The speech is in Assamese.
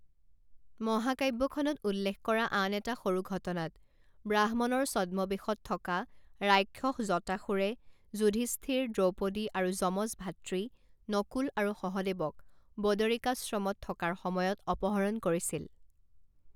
মহাকাব্যখনত উল্লেখ কৰা আন এটা সৰু ঘটনাত, ব্ৰাহ্মণৰ ছদ্মবেশত থকা ৰাক্ষস জটাসুৰে যুধিষ্ঠিৰ, দ্ৰৌপদী আৰু যমজ ভাতৃ নকুল আৰু সহদেৱক বদৰিকাশ্ৰমত থকাৰ সময়ত অপহৰণ কৰিছিল।